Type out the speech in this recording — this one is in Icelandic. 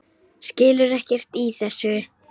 Skilur ekkert í þessu.